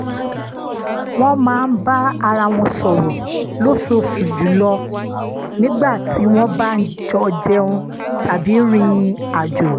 wọ́n máa ń bá ara wọn sọrọ́ lóṣooṣù jùlọ nígbà tí wọ́n bá jọ jẹun tàbí rìn àjò